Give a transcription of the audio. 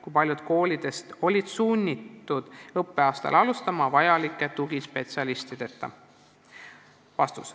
Kui paljud koolidest olid sunnitud õppeaastat alustama vajalike tugispetsialistideta?